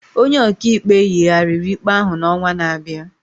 Onye ọkaikpe yigharịrị ikpe ahụ n'ọnwa na-abịa.